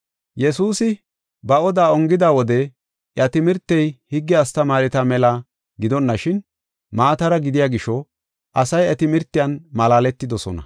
Yesuusi ba oda ongida wode iya timirtey higge astamaareta mela gidonashin, maatara gidiya gisho asay iya timirtiyan malaaletidosona.